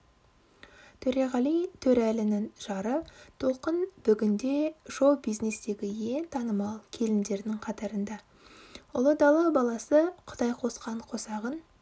төреғали төреәлінің жары толқын бүгінде шоу-бизнестегі ең танымал келіндердің қатарында ұлы дала баласы құдай қосқан қосағын